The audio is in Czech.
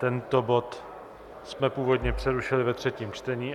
Tento bod jsme původně přerušili ve třetím čtení.